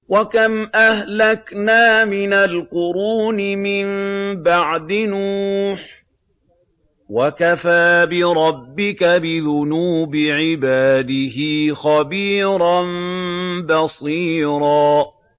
وَكَمْ أَهْلَكْنَا مِنَ الْقُرُونِ مِن بَعْدِ نُوحٍ ۗ وَكَفَىٰ بِرَبِّكَ بِذُنُوبِ عِبَادِهِ خَبِيرًا بَصِيرًا